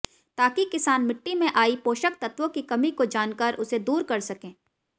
ताकि किसान मिट्टी में आई पोषक तत्वों की कमी को जानकर उसे दूर कर सकें